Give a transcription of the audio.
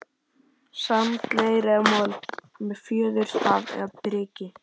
sand, leir eða mold, með fjöðurstaf eða priki.